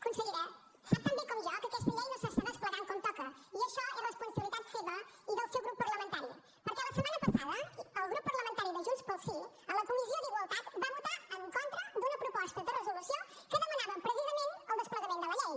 consellera sap tan bé com jo que aquesta llei no s’està desplegant com toca i això és responsabilitat seva i del seu grup parlamentari perquè la setmana passada el grup parlamentari de junts pel sí a la comissió d’igualtat va votar en contra d’una proposta de resolució que demanava precisament el desplegament de la llei